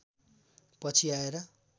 पछि आएर